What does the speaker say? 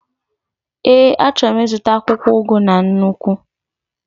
Ee, achọrọ m ịzụta akwụkwọ ugu na nnukwu